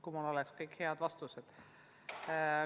Kui mul oleks kõik head vastused!